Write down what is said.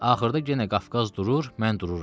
Axırda yenə Qafqaz durur, mən dururam.